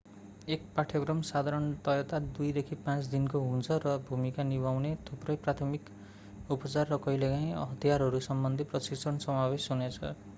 एक पाठ्यक्रम साधारणतया 2-5 दिनको हुन्छ र भूमिका निभाउने थुप्रै प्राथमिक उपचार र कहिलेकाहिँ हतियारहरूसम्बन्धी प्रशिक्षण समावेश हुनेछ